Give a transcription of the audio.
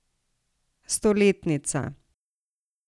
Stoletnica.